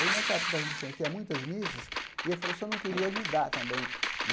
Aí, nessa época das missões, tinha muitas missas e ele falou que se eu não queria ajudar também né.